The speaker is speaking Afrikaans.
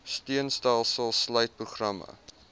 steunstelsels sluit programme